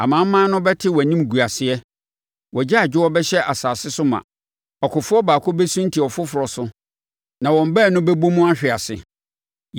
Amanaman no bɛte wʼanimguaseɛ; wʼagyaadwoɔ bɛhyɛ asase so ma. Ɔkofoɔ baako bɛsunti ɔfoforɔ so; na wɔn baanu bɛbɔ mu ahwe ase.”